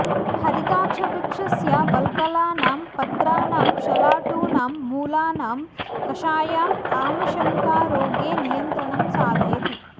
हरिताक्षवृक्षस्य वल्कलानां पत्राणां शलाटूनां मूलानां कषायम् आमशङ्कारोगे नियन्त्रणं साधयति